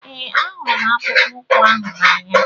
Ee, ahụrụ m akpụkpọ ụkwụ ahụ n'anya.